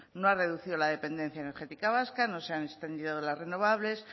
no ha reducido la dependencia energética vasca no se han extendido las renovables